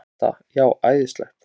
Linda: Já, æðislegt?